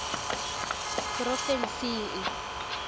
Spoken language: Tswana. porofensing